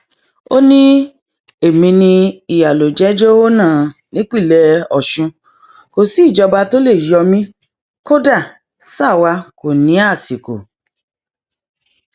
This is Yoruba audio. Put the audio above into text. ó ní èmi ni iyálójàjèhónà nípínlẹ ọsùn kò sí ìjọba tó lè yọ mí kódà sáà wá kò ní àsìkò